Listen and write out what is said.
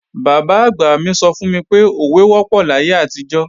Bàbá-àgbà mi sọ fún mi pé, òwe wọ́pọ̀ láyé àtijọ́